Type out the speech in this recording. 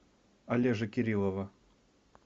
олежи кириллова